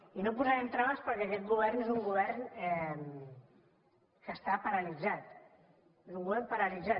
i no hi posarem traves perquè aquest govern és un govern que està paralitzat és un govern paralitzat